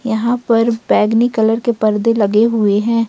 यहाँ पर बैगनी कलर के परदे लगे हुए हैं।